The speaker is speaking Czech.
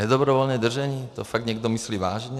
Nedobrovolné držení - to fakt někdo myslí vážně?